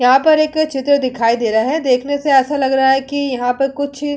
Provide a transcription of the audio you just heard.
यहाँ पर एक चित्र दिखाई दे रहा है देखने से ऐसा लग रहा है कि यहाँ पर कुछ --